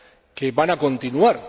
que van a continuar.